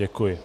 Děkuji.